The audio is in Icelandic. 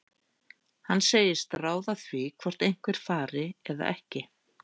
Hann segist ráða því hvort einhver fari eða ekki.